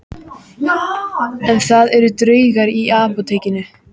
En það eru draugar í Apótekinu